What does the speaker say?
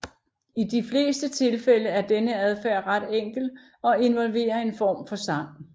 I de fleste tilfælde er denne adfærd ret enkel og involverer en form for sang